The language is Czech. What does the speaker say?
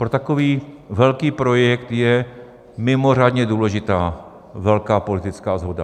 Pro takový velký projekt je mimořádně důležitá velká politická shoda.